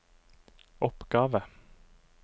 oppgave